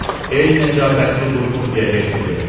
Ey Nəcabbətli Burqundiya herseqı.